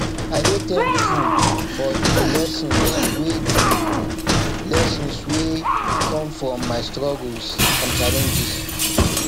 i dey thankful for the lessons wey the lessons wey come from my struggles and challenges